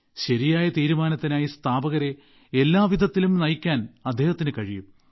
ശരിയായ തീരുമാനത്തിനായി സ്ഥാപകരെ എല്ലാവിധത്തിലും നയിക്കാൻ അദ്ദേഹത്തിന് കഴിയും